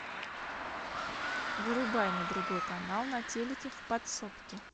вырубай на другой канал на телике в подсобке